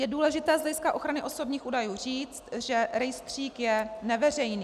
Je důležité z hlediska ochrany osobních údajů říct, že rejstřík je neveřejný.